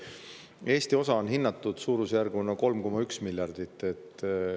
Eesti osa on hinnatud suurusjärgus 3,1 miljardile.